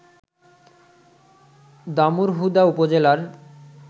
দামুড়হুদা উপজেলার